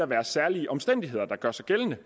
være særlige omstændigheder der gør sig gældende